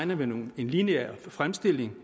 man en lineær fremskrivning